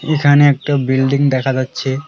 এখানে একটা বিল্ডিং দেখা যাচ্ছে।